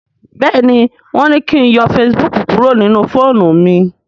béèni wón ní kín yọ Facebook kúrò nínú fóònù mí.